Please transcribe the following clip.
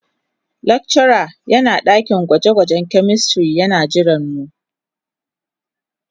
Lecturer yana dakin gwaje-gwajen chemistry yana jiranmu.